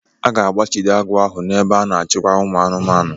A ga-agbachide agụ ahụ n'ebe a na-achịkwa ụmụ anụmanụ.